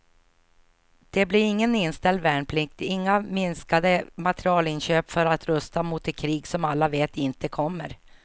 Det blir ingen inställd värnplikt, inga minskade materielinköp för att rusta mot det krig som alla vet inte kommer.